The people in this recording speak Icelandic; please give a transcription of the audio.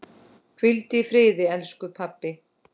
Hvíldu í friði, elsku pabbi.